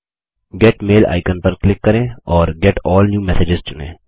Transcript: gate mail icon पर click करें और गेट अल्ल न्यू मेसेजेज चुनें